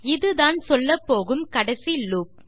இதுதான் சொல்லப்போகும் கடைசி லூப்